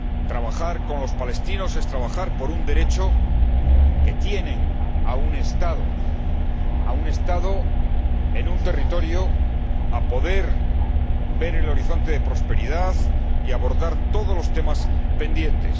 Trabajar con los palestinos es trabajar por el derecho que tienen a un Estado, a un territorio, a poder ver el horizonte de prosperidad y a abordar todos los temas pendientes.